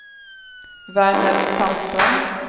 Verner Sandström